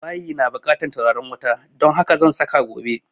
Bayi na bukatan turaren wuta don haka zan saka gobe